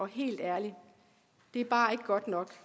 helt ærligt det er bare ikke godt nok